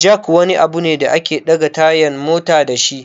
Jack wani abu ne da ake ɗaga tayan mota dashi